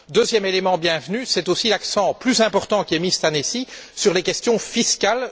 Deuxième élément bienvenu, c'est aussi l'accent plus important qui est mis cette année ci sur les questions fiscales.